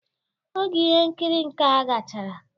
Oge ihe nkiri nkea gachara